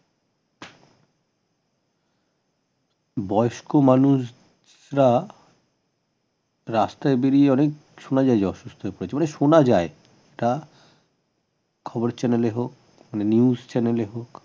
বয়স্ক মানুষরা রাস্তায় বেরিয়ে এলে শোনা যায় যে অসুস্থ পড়েছে মানে শোনা যায় তা খবরের channel হোক news channel এ হোক